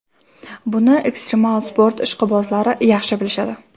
Buni ekstremal sport ishqibozlari yaxshi bilishadi.